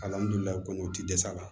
kɔni o ti dɛsɛ a la